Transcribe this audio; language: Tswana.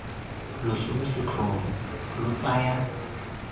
loso lo setlhogo lo tsaya